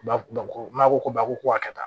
Ba maa ko ba ko a ka kɛ tan